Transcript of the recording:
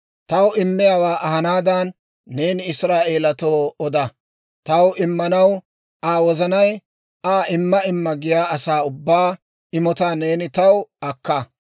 «Taw immiyaawaa ahanaadan neeni Israa'eelatoo oda; taw immanaw Aa wozanay Aa imma imma giyaa asaa ubbaa imotaa neeni taw akka.